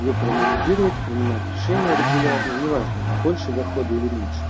её проанализировать принимать решение регулярно неважно больше дохода или меньше